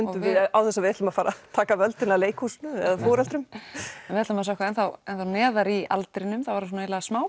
án þess að við ætlum að fara að taka völdin af leikhúsinu eða foreldrum en við ætlum að sökkva enn þá neðar í aldrinum það var svona eiginlega